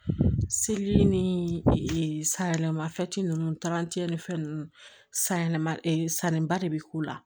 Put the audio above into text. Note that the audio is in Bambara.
Seli ni sayɛlɛma fɛn ninnu taara cɛlifɛn ninnu sayɛlɛma sanniba de bɛ k'u la